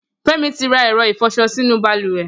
Femi ti rà ẹ̀rọ̀ ifọṣọ sinú bàlùwẹ̀